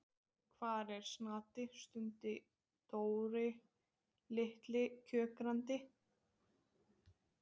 Hvar er Snati? stundi Dóri litli kjökrandi.